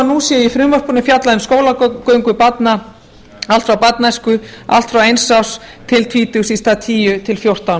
nú sé í frumvarpinu skólagöngu barna allt frá barnæsku allt frá eins árs til tvítugs í stað tíu til fjórtán